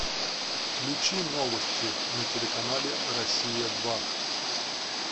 включи новости на телеканале россия два